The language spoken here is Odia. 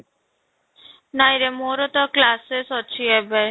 ନାଇଁରେ ମୋର ତ classes ଅଛି ଏବେ